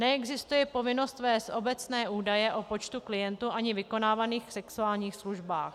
Neexistuje povinnost vést obecné údaje o počtu klientů ani vykonávaných sexuálních službách.